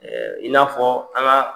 i na fɔ an ga